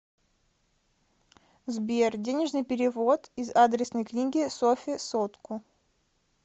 сбер денежный перевод из адресной книги софе сотку